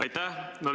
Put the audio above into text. Aitäh!